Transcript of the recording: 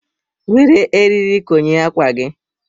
Were eriri konye ákwà gị.